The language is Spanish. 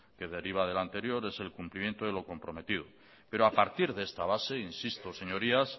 que deriva de la anterior es el cumplimiento de lo comprometido pero a partir de esta base insisto señorías